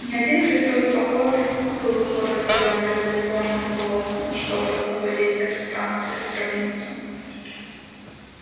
не один крестовый поход был благословлён революционным руководством чтобы освободить эту станцию и гробницу